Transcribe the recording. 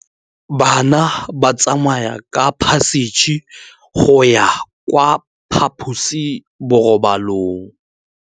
Bana ba tsamaya ka phašitshe go ya kwa phaposiborobalong.